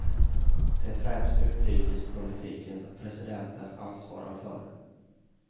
Det är främst utrikespolitiken som presidenten ansvarar för.